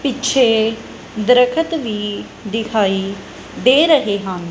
ਪਿੱਛੇ ਦਰਖਤ ਵੀ ਦਿਖਾਈ ਦੇ ਰਹੇ ਹਨ।